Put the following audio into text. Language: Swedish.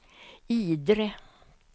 Idre